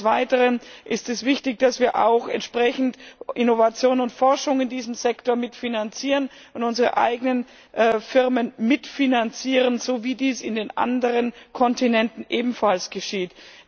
Des Weiteren ist es wichtig, dass wir auch entsprechend Innovation und Forschung in diesem Sektor mitfinanzieren und unsere eigenen Firmen mitfinanzieren, so wie dies auf den anderen Kontinenten ebenfalls geschieht.